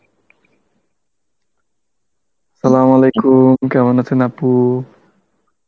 Arbi কেমন আছেন আপু?